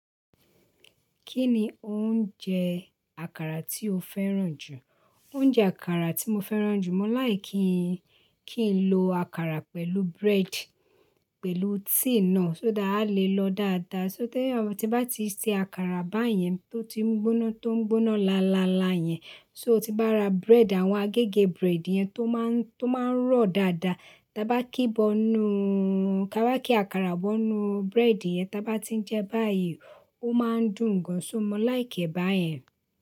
Kí ni oúnjẹ àkàrà tí o fẹ́ràn jù? Oúnjẹ àkàrà tí mo fẹ́ràn jù mọ́ like kí n lo àkàrà pẹ̀lú bread, pẹ̀lú tea náà, so that alè lọ dáadáa. So, tí bá ti se àkàrà báyẹn tó ti ń gbóná, tó ń gbóná láalalá yẹn. So, tí bá ra bread, àwọn agégè bread yẹn tó máa ń, tó máa ń rọ̀ dáadáa, dá bá kí bọ́nú, ká bá kí àkàrà bọ́nú bread yẹn dá bá ti ń jẹ báyìí, ó máa ń dùn gan. So mo like e bá yẹn.